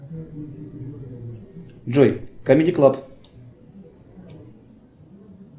джой камеди клаб